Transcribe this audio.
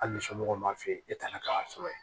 Hali ni somɔgɔw b'a f'i ye e tana k'a sɔrɔ yen